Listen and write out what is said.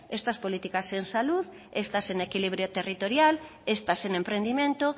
estas políticas en salud estas en equilibrio territorial estas en emprendimiento